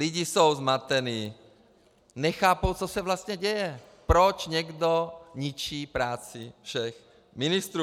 Lidi jsou zmatení, nechápou, co se vlastně děje, proč někdo ničí práci všech ministrů.